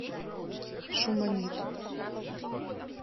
шуманит